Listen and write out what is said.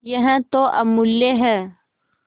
यह तो अमुल्य है